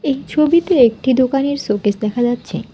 এই ছবিতে একটি দোকানের শোকেস দেখা যাচ্ছে।